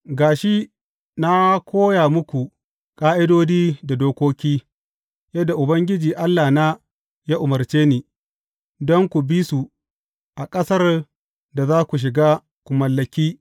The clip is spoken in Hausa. Ga shi, na koya muku ƙa’idodi da dokoki, yadda Ubangiji Allahna ya umarce ni, don ku bi su a ƙasar da za ku shiga ku mallaki.